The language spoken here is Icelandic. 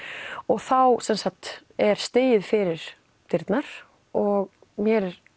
þá er stigið fyrir dyrnar og mér er